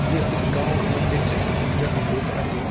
य इक गाँव क मंदिर च जख लोग आन्दी।